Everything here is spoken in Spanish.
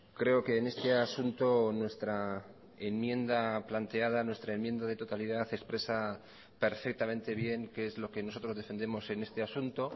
creo que en este asunto nuestra enmienda planteada nuestra enmienda de totalidad expresa perfectamente bien qué es lo que nosotros defendemos en este asunto